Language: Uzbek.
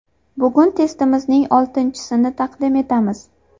Bugun testimizning oltinchisini taqdim etamiz.